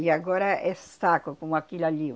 E agora é saco como aquilo ali, ó.